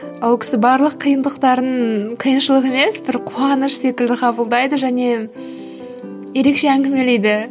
ол кісі барлық қиындықтарын қиыншылық емес бір қуаныш секілді қабылдайды және ерекше әңгімелейді